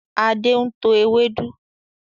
Adé ń tọ́ ewédú